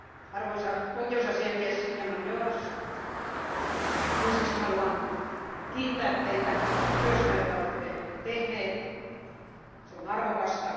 Arvoisa oikeusasiamies Diamandoros, ensiksi haluan kiittää teitä työstä, jota olette tehnyt, se on arvokasta.